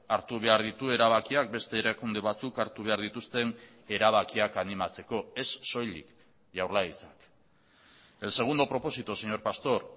hartu behar ditu erabakiak beste erakunde batzuk hartu behar dituzten erabakiak animatzeko ez soilik jaurlaritzak el segundo propósito señor pastor